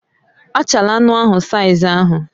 Achala anụ ahụ saiz ahụ